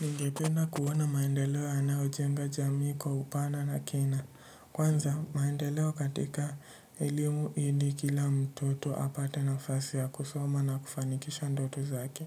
Ningependa kuwa na maendeleo yanayo jenga jamii kwa upana na kina. Kwanza, maendeleo katika elimu ili kila mtoto apate nafasi ya kusoma na kufanikisha ndoto zake.